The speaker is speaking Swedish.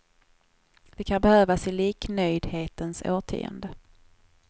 Det kan behövas i liknöjdhetens årtionde.